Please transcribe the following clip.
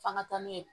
F'an ka taa n'u ye